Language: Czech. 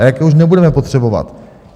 A jaké už nebudeme potřebovat.